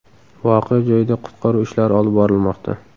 Voqea joyida qutqaruv ishlari olib borilmoqda.